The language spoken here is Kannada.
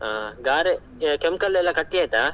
ಹಾ ಗಾರೆ ಕೆಂಪ್ ಕಲ್ಲೆಲ್ಲ ಕಟ್ಟಿ ಆಯ್ತಾ?